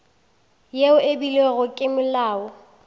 yeo e beilwego ke molao